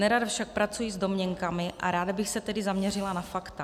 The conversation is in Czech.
Nerada však pracuji s domněnkami, a ráda bych se tedy zaměřila na fakta.